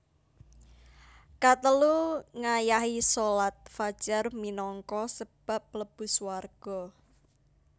Katelu Ngayahi shalat fajar minangka sebab mlebu swarga